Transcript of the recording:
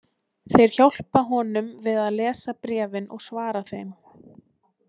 Þeir hjálpa honum við að lesa bréfin og svara þeim.